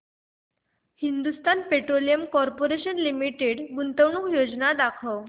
Hindustan petroleum corporation limited गुंतवणूक योजना दाखव